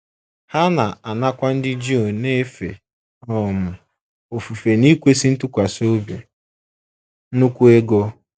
Ha na - anakwa ndị Juu na - efe um ofufe n’ikwesị ntụkwasị obi nnukwu ego.